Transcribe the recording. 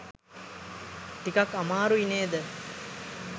ටිකක් අමාරුයි නේද?